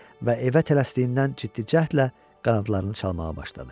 Və evə tələsdiyindən ciddi cəhdlə qanadlarını çalamağa başladı.